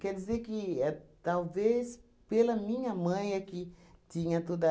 Quer dizer que é talvez pela minha mãe é que tinha tudo